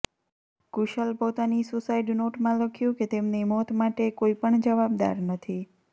કુશલ પોતાની સુસાઇડ નોટમાં લખ્યું કે તેમની મોત માટે કોઇ પણ જવાબદાર નથી